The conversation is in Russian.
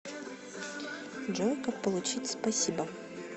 джой как получить спасибо